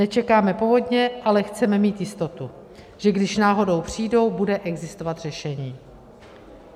Nečekáme povodně, ale chceme mít jistotu, že když náhodou přijdou, bude existovat řešení.